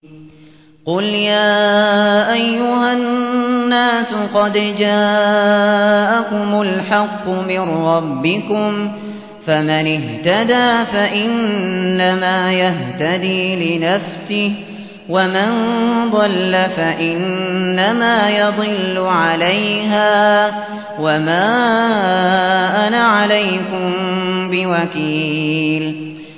قُلْ يَا أَيُّهَا النَّاسُ قَدْ جَاءَكُمُ الْحَقُّ مِن رَّبِّكُمْ ۖ فَمَنِ اهْتَدَىٰ فَإِنَّمَا يَهْتَدِي لِنَفْسِهِ ۖ وَمَن ضَلَّ فَإِنَّمَا يَضِلُّ عَلَيْهَا ۖ وَمَا أَنَا عَلَيْكُم بِوَكِيلٍ